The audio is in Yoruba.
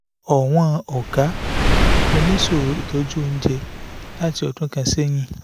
ọ̀wọ́n ọ̀gá mo ní ìṣòro ìtọ́jú oúnjẹ láti ọdún kan sẹ́yìn